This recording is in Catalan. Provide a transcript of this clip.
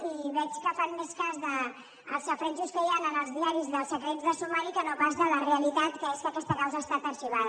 i veig que fan més cas dels safarejos que hi han als diaris dels secrets de sumari que no pas de la realitat que és que aquesta causa ha estat arxivada